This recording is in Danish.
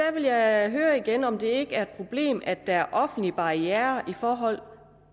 jeg høre igen om det ikke er et problem at der er offentlige barrierer i forhold